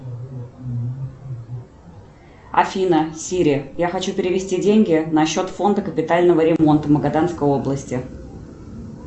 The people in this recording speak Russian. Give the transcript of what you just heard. афина сири я хочу перевести деньги на счет фонда капитального ремонта магаданской области